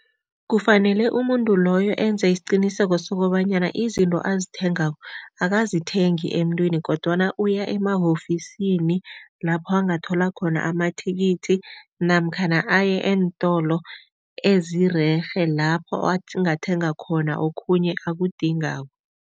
Kufanele umuntu loyo enze isiqiniseko sokobanyana izinto azithengako akazithengi emntwini kodwana uya ema-ofisini lapho angathola khona amathikithi namkhana aye eentolo ezirerhe lapho angathenga khona okhunye akudingako.